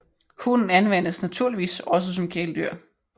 Hunden anvendes naturligvis også som kæledyr